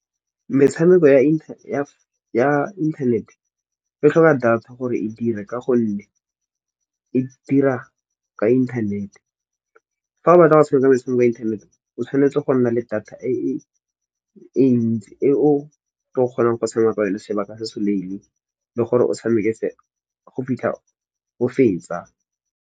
Metshameko ya inthanete e tlhoka data gore e dire, ka gonne e dira ka inthanete. Fa o batla go tshameka metshameko ya inthanete o tshwanetse go nna le data e e ntsi, e o otla kgonang go tshameka ka yone sebaka se se lele, le gore o tshameke go fitlha o fetsa.